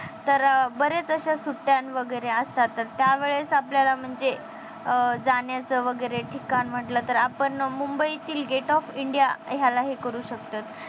तर बरेच सुट्ट्या वगैरे असतात तर त्यावेळेस आपल्याला म्हणजे अं जाण्याचं वैगेरे ठिकाण म्हटलं तर मुबईतील gate of india ह्याला हे करू शकतोत.